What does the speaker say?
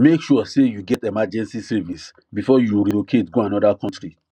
make sure say you get emergency savings before you relocate go another country